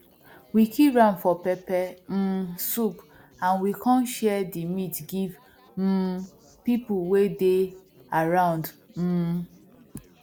we kill ram for pepper um soup and we come share the meat give um people way they around um